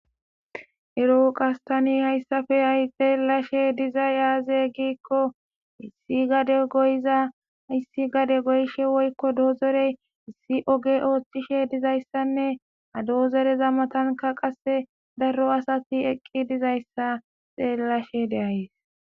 erooqas tani hayssafe ay xeelashe diza yaaze giikko issi gade goyza hayssi gade goyshe woykko doozorey issi oge oothtishe dizayssanne ha doozereza matanka qasse darro asati eqqi dizayssa xeellashe deayes